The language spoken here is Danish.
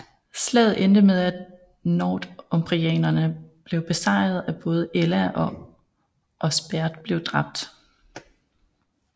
Slaget endte med at northumbriarne blev besejret og både Ælla og Osberht blev dræbt